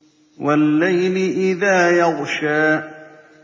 وَاللَّيْلِ إِذَا يَغْشَىٰ